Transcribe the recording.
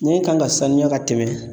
Nɛn kan ka sanuya ka tɛmɛ